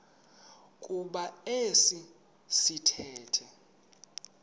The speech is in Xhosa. kuba esi sithethe